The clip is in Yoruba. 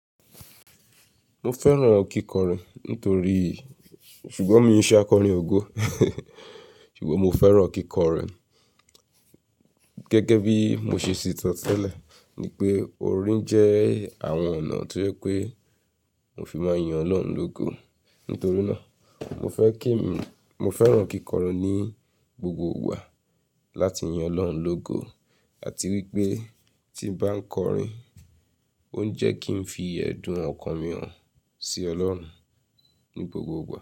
Mo fẹ́ràn kíkọrin nítorí, ṣùgbọ́n mi n ṣe akọrin ògo. Ṣùgbọ́n mo fẹ́ràn kíkọrin gẹ́gẹ́ bí mo ṣe ṣèti sò tẹ́lẹ̀, ní pé orin jẹ́ àwọn ọ̀nà tí ó pé mo fi máa yin Ọlọ́run lógo. Nítorí náà, mo fẹ́ kí mi, mo fẹ́ràn kíkọrin ní gbogbo ìgbà láti yin Ọlọ́run lógo àti wípé tí bá ń kọrin, ó ń jẹ́ kí n fi ẹ̀dùn ọkàn mi hàn sí Ọlọ́run ní gbogbo ìgbà.